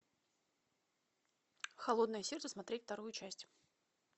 холодное сердце смотреть вторую часть